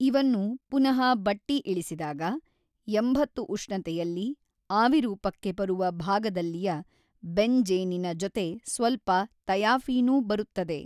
ಇವನ್ನು ಪುನಃ ಬಟ್ಟಿ ಇಳಿಸಿದಾಗ ಎಂಬತ್ತು ಉಷ್ೞತೆಯಲ್ಲಿ ಆವಿರೂಪಕ್ಕೆ ಬರುವ ಭಾಗದಲ್ಲಿಯ ಬೆನ್ ಜ಼ೀನಿನ ಜೊತೆ ಸ್ವಲ್ಪ ತಯಾಫೀನೂ ಬರುತ್ತದೆ.